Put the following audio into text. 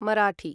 Marathi